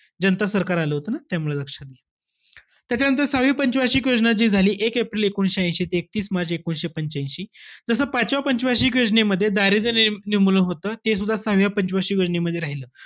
जनता सरकार आलं होतं न, त्यामुळे लक्षाते. त्याच्यानंतर सहावी पंच वार्षिक योजना जी झाली. एक एप्रिल एकोणवीसशे ऐशी ते एकतीस मार्च एकोणवीसशे पंच्यांशी. जस पाचव्या पंच वार्षिक योजनेमध्ये दारिद्र्य नि~ निर्मूलन होतं ते सुद्धा सहाव्या पंच वार्षिक योजनेमध्ये राहीलं.